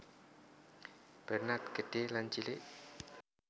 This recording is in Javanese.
Bernard Gedhé lan Cilik